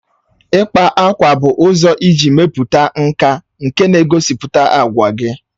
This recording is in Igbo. Ịkpa ákwà bụ ụzọ iji mepụta nka nke na-egosipụta àgwà gị